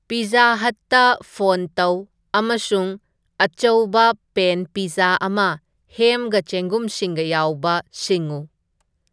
pizza ꯍꯠꯇ ꯄꯣꯟ ꯇꯧ ꯑꯃꯁꯨꯡ ꯑꯆꯧꯕ ꯄꯦꯟ ꯄꯤꯖꯖꯥ ꯑꯃ ꯍꯦꯝꯒ ꯆꯦꯡꯒꯨꯝꯁꯤꯡꯒ ꯌꯥꯎꯕ ꯁꯤꯡꯉꯨ